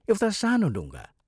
एउटा सानो डुङ्गा।